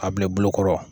A bila i bolokɔrɔ